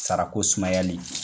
Sara ko sumayali